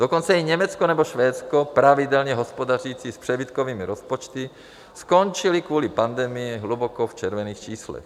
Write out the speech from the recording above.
Dokonce i Německo nebo Švédsko, pravidelně hospodařící s přebytkovými rozpočty, skončily kvůli pandemii hluboko v červených číslech.